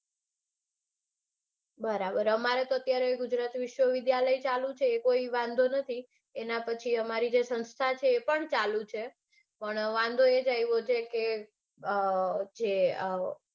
બરાબર. અમારે અત્યારે તો ગુજરાત વિસ્વવિદ્યાલય ચાલુ છે એ કોઈ વાંધો નથી. એના પછી અમારી જે સંસ્થા છે તે પણ ચાલુ છે. પણ વાંધો એજ આવ્યો છે કે અઅઅ